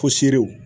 Pɔsiw